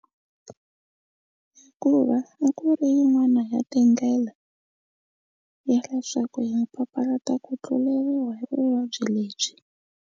Hikuva a ku ri yin'wana ya tindlela ya leswaku hi nga papalata ku tluleriwa hi vuvabyi lebyi.